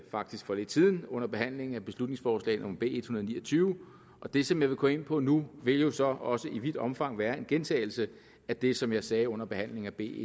faktisk for lidt siden under behandlingen af beslutningsforslag nummer b en og ni og tyve og det som jeg vil komme ind på nu vil jo så også i vidt omfang være en gentagelse af det som jeg sagde under behandlingen af b